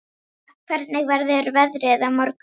Eva, hvernig verður veðrið á morgun?